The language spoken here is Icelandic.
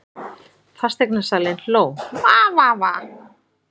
Fasteignasalinn hló:- Va Va Va.